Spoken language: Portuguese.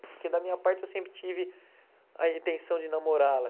Porque da minha parte eu sempre tive a intenção de namorá-la.